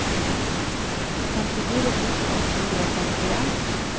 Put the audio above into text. femtifire tusen åtte hundre og sekstien